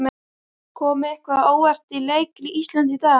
Kom eitthvað á óvart í leik Íslands í dag?